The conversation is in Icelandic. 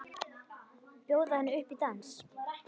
Bjóða henni upp í dans!